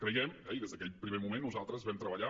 creiem i des d’aquell primer moment nosaltres vam treballar